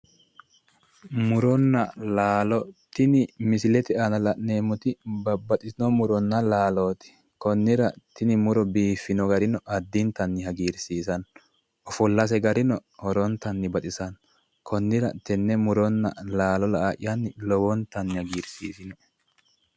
Muronna laalo. Tini misilete aana la'neemmoti babbaxxitino muronna laalooti. Konnira tini muro biiffino garino addintanni hagiirsiissanno. Ofollase garino lowontanni baxisanno. Konnira tenne muronna laalo la"a'yanni lowontanni hagiirsiisewoe.